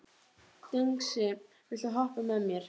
Dengsi, viltu hoppa með mér?